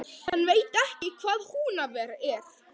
Hann veit ekki hvað Húnaver er!